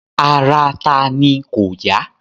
Ara tani kò yá?